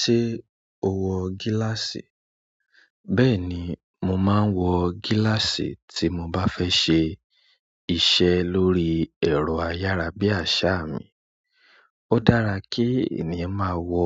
Ṣé o wọ gíláàsì? Bẹ́ẹ̀ ni, mo máa ń wọ gíláàsì tí mo bá fẹ́ ṣe iṣẹ́ lórí ẹ̀rọ ayárabíàṣá mi. Ó dára kí ènìyàn máa wọ